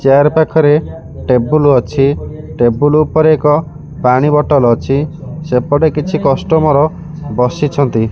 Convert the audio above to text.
Chair ପାଖରେ table ଅଛି table ଉପରେ ଏକ ପାଣି ବଟଲ ଅଛି ସେପଟେ କିଛି କଷ୍ଟମର ବସିଛନ୍ତି।